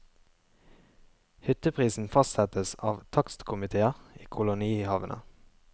Hytteprisen fastsettes av takstkomitéer i kolonihavene.